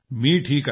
मी ठीक आहे